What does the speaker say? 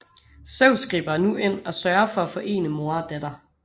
Zeus griber nu ind og sørger for at forene mor og datter